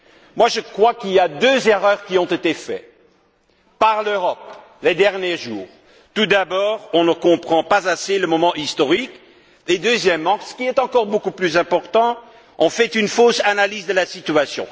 Moi, je crois que deux erreurs ont été commises par l'Europe ces derniers jours. Tout d'abord, on ne comprend pas à quel point le moment est historique et, deuxièmement, ce qui est encore beaucoup plus important, on a une fausse analyse de la situation.